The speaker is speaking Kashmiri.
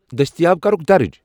دٔستِیاب کَرُکھ درج ۔